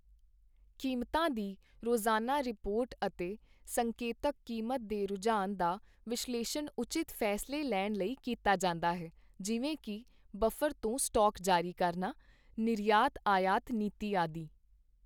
ਕੀਮਤਾਂ ਦੀ ਰੋਜ਼ਾਨਾ ਰਿਪੋਰਟ ਅਤੇ ਸੰਕੇਤਕ ਕੀਮਤ ਦੇ ਰੁਝਾਨ ਦਾ ਵਿਸ਼ਲੇਸ਼ਣ ਉਚਿਤ ਫੈਸਲੇ ਲੈਣ ਲਈ ਕੀਤਾ ਜਾਂਦਾ ਹੈ, ਜਿਵੇਂ ਕਿ- ਬਫਰ ਤੋਂ ਸਟਾਕ ਜਾਰੀ ਕਰਨਾ, ਨਿਰਯਾਤ ਆਯਾਤ ਨੀਤੀ ਆਦਿ।